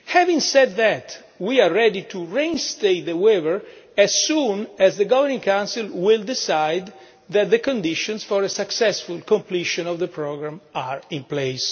Having said that, we are ready to reinstate the waiver as soon as the Governing Council decides that the conditions for a successful completion of the programme are in place.